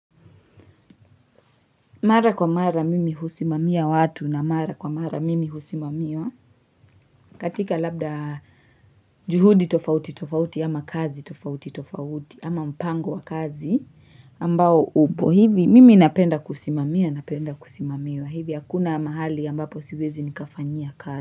Mara kwa mara mimi husimamia watu na mara kwa mara mimi husimamiwa katika labda juhudi tofauti tofauti ama kazi tofauti tofauti ama mpango wa kazi ambao upo hivi mimi napenda kusimamia napenda kusimamiwa hivi hakuna mahali ambapo siwezi nikafanyia kazi.